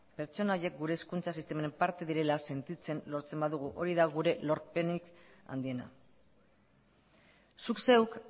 pertsona horiek gure hezkuntza sistemaren parte direla sentitzen lortzen badugu hori da gure lorpenik handiena zuk zeuk